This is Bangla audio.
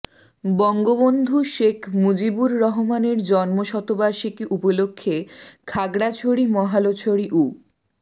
বঙ্গবন্ধু শেখ মুজিবুর রহমানের জন্মশতবার্ষিকী উপলক্ষে খাগড়াছড়ি মহালছড়ি উ